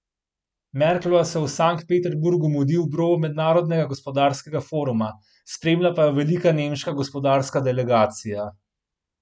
Merklova se v Sankt Peterburgu mudi ob robu Mednarodnega gospodarskega foruma, spremlja pa jo velika nemška gospodarska delegacija.